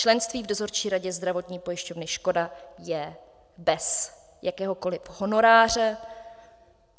Členství v dozorčí radě zdravotní pojišťovny Škoda je bez jakéhokoliv honoráře.